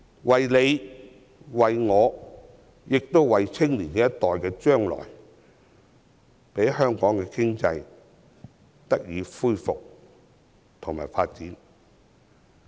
為了我們及年青一代的將來，希望香港經濟能夠復蘇和繼續發展。